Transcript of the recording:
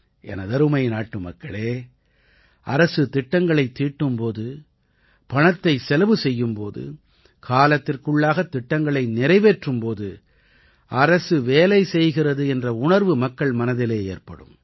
எனதருமை நாட்டுமக்களே அரசு திட்டங்களைத் தீட்டும் போது பணத்தைச் செலவு செய்யும் போது காலத்திற்குள்ளாகத் திட்டங்களை நிறைவேற்றும் போது அரசு வேலை செய்கிறது என்ற உணர்வு மக்கள் மனதிலே ஏற்படும்